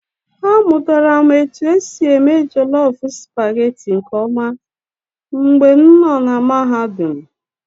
Amụtara m otu esi eme jollof supagetii nke ọma mgbe m nọ na Mahadum.